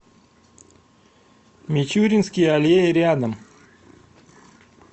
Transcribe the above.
мичуринские аллеи рядом